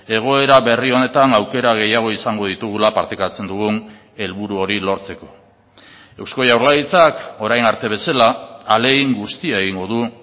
egoera berri honetan aukera gehiago izango ditugula partekatzen dugun helburu hori lortzeko eusko jaurlaritzak orain arte bezala ahalegin guztia egingo du